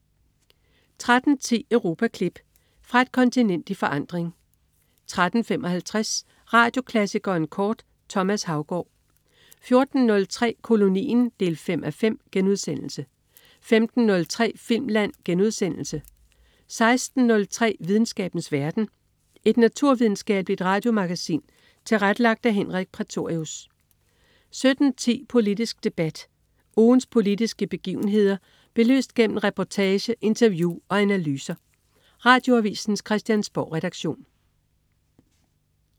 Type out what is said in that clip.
13.10 Europaklip. Fra et kontinent i forandring 13.55 Radioklassikeren kort. Thomas Haugaard 14.03 Kolonien 5:5* 15.03 Filmland* 16.03 Videnskabens verden. Et naturvidenskabeligt radiomagasin tilrettelagt af Henrik Prætorius 17.10 Politisk debat. Ugens politiske begivenheder belyst gennem reportage, interview og analyser. Radioavisens Christiansborgredaktion